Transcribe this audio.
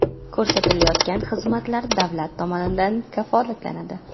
Ko‘rsatilayotgan xizmatlar davlat tomonidan kafolatlanadi.